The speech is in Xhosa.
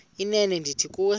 inene ndithi kuwe